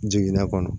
Jiginn'a kɔnɔ